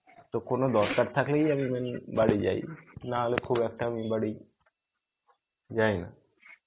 তো কোনো দরকার থাকলেই আমি বাড়ি যাই. নাহলে খুব একটা আমি বাড়ি যাই না.